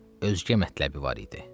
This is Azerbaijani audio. Özgə mətləbi vardı.